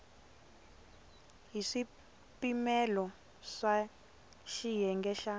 hi swipimelo swa xiyenge xa